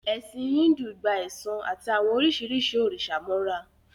Ẹ̀sìn Íńdù gba ẹ̀san àti àwọn oríṣiríṣi òrìṣà mọ́ra